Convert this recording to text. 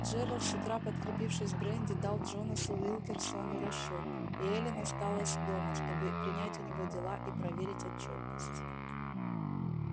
джералд с утра подкрепившись бренди дал джонасу уилкерсону расчёт и эллин осталась дома чтобы принять у него дела и проверить отчётность